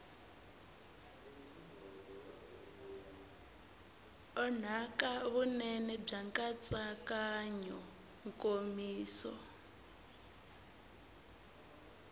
onhaka vunene bya nkatsakanyo nkomiso